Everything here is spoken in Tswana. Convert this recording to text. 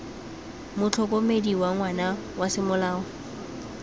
motlhokomedi wa ngwana wa semolao